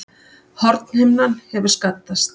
Hornhimnan hefur skaddast